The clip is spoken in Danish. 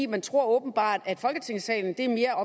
man tror åbenbart at folketingssalen mere